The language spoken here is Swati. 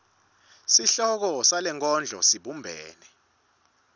sihloko salenkondlo sibumbene